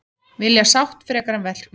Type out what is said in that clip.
Vilja sátt frekar en verkfall